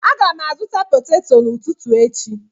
Aga m azụta potato n'ụtụtụ echi